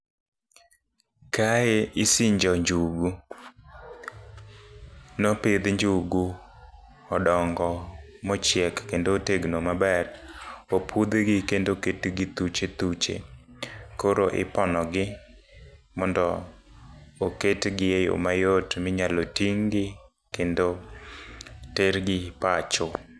Kae isinjo njugu, nopidhi njugu, odongo mochiek ekndo tegno maber. Opudhgi kendo oketgi thuche thuche, koro iponogi mondo oketgi e yo mayot minyalo ting'gi, kendo tergi pacho.